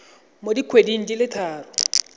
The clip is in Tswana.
mo dikgweding di le tharo